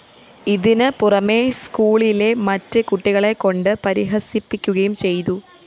ഇതിന് പുറമേ സ്‌ക്കൂളിലെ മറ്റ് കുട്ടികളെ കൊണ്ട് പരിഹസിപ്പിക്കുകയും ചെയ്തു